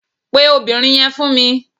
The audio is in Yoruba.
Pè obìnrin yẹn fún mi